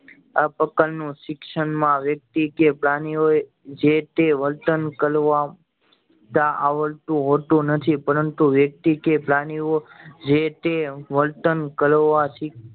આ પ્રકાર નું શિક્ષણ માં વ્યક્તિ કે પ્રાણીઓ એ જે તે વર્તન કરવા તા આવડતું હોતું નથી પરંતુ વ્યક્તિ કે પ્રાણીઓ જે તે વર્તન કરવા થી